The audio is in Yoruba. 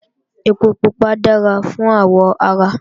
Ẹpo pupa dára fáwọ̀ ara